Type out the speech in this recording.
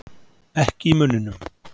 Ekki í munninum.